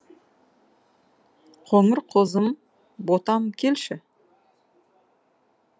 қоңыр қозым ботам келші